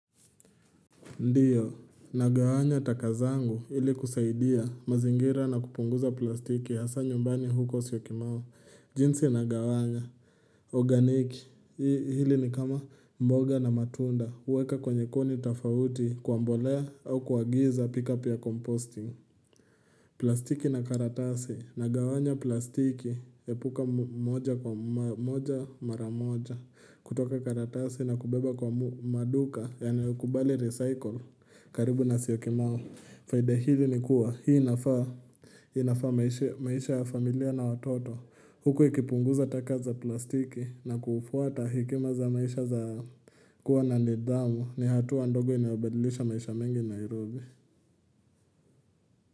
Ndiyo, nagawanya taka zangu ili kusaidia mazingira na kupunguza plastiki hasa nyumbani huko syokimau jinsi nagawanya, organiki, hili ni kama mboga na matunda, weka kwenye kuni tafauti kuambolea au kwa giza pick up ya composting. Plastiki na karatasi nagawanya plastiki epuka moja kwa moja mara moja kutoka karatasi na kubeba kwa maduka yaniyokubali recycle karibu na syokimau faida hivi ni kuwa hii inafaa maisha ya familia na watoto Huku ikipunguza taka za plastiki na kufuata hekima za maisha za kuwa na nidhamu ni hatua ndogo inayobadilisha maisha mengi Nairobi.